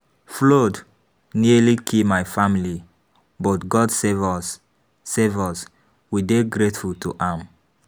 Flood nearly kill my family but God save us save us. We dey grateful to am.